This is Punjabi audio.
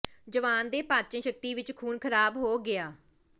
ਜਵਾਨ ਦੇ ਪਾਚਣ ਸ਼ਕਤੀ ਵਿਚ ਖੂਨ ਖਰਾਬ ਹੋ ਗਿਆ